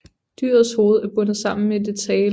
Dyrets hoved er bundet sammen med dets hale